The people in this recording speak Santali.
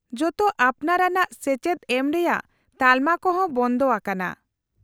-ᱡᱚᱛᱚ ᱟᱯᱱᱟᱨ ᱟᱱᱟᱜ ᱥᱮᱪᱮᱫ ᱮᱢ ᱨᱮᱭᱟᱜ ᱛᱟᱞᱢᱟ ᱠᱚ ᱦᱚᱸ ᱵᱚᱱᱫᱷᱚ ᱟᱠᱟᱱᱟ ᱾